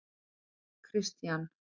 Kristian